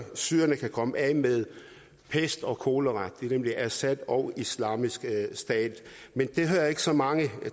syrerne kan komme af med pest og kolera nemlig assad og islamisk stat men det hører jeg ikke så mange